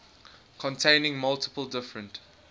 containing multiple different